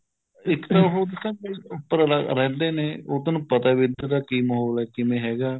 ਇੱਕ ਤਾਂ ਉਹ ਦੱਸਾਂ ਉੱਪਰ ਉਹ ਰਹਿੰਦੇ ਨੇ ਉਹ ਤੈਨੂੰ ਪਤਾ ਵੀ ਇੱਧਰ ਦਾ ਕੀ ਮਾਹੋਲ ਹੈ ਕਿਵੇਂ ਹੈਗਾ